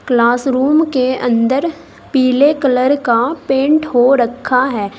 Classroom के अंदर पीले कलर का पेंट हो रखा है।